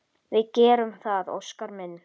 Við gerum það, Óskar minn.